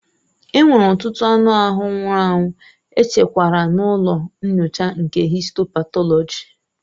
Enwere ọtụtụ anụ ahụ nwụrụ anwụ echekwara n'ụlọ nyocha nke histo patọlọji.